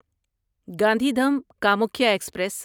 Gandhidham Kamakhya express